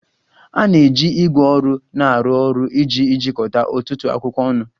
A na-eji ígwè ọrụ na-arụ ọrụ iji jikọta ọtụtụ akwụkwọ ọnụ.